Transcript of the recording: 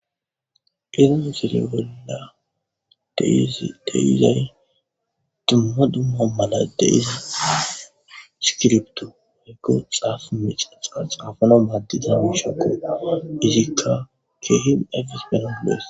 iron sere bolla deizay dumma dumma mala deizi sikilbtu maygo xaafu micaxa xaafano maaddiza wiishakko izikka keehim afis penagolees